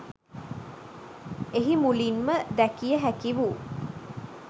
එහි මුලින්ම දැකිය හැකි වූ